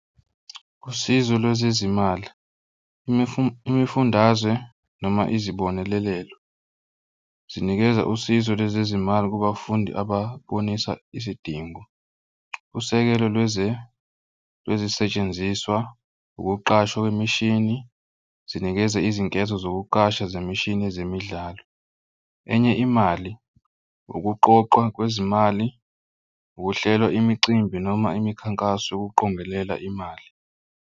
Usizo lwezezimali, imifundazwe noma izibonelelo zinikeza usizo lwezezimali kubafundi ababonisa isidingo. Usekelo lwezisetshenziswa ukuqashwa kwemishini zinikeze izinketho zokuqasha zemishini ezemidlalo. Enye imali, ukuqoqwa kwezimali ukuhlela imicimbi noma imikhankaso yokuqongelela imali.